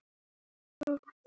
Og kannski var ég það.